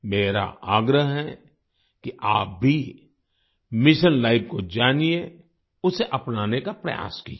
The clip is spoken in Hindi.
मेरा आग्रह है कि आप भी मिशन लाइफ को जानिए उसे अपनाने का प्रयास कीजिये